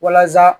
Walasa